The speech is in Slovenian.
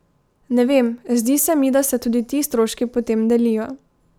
Ne vem, zdi se mi, da se tudi ti stroški potem delijo.